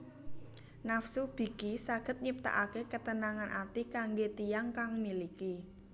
Nafsu biki saged nyiptaake ketenangan ati kangge tiyang kang miliki